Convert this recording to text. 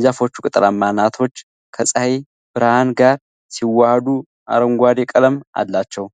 የዛፎቹ ቅጠላማ አናቶች ከፀሐይ ብርሃን ጋር ሲዋሃዱ አረንጓዴ ቀለም አላቸው፡፡